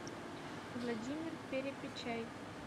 владимир перепечай